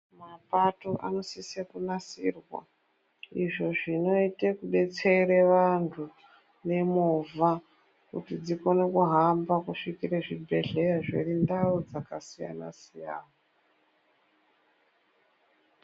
Mapato anosisa kunasirwa izvo zviite kudetsera vantu vemovha kuti dzikone kuhamba kusvikira zvibhedhlera zviri kundau dzakasiyana siyana.